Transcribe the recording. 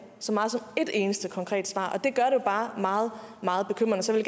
så meget som ét eneste konkret svar og bare meget meget bekymrende så jeg